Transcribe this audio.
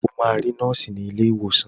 O máa rí nọ́ọ̀sì ní ilé ìwòsàn.